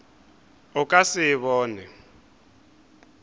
o ka se e bone